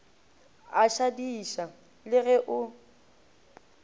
a šadiša le ge o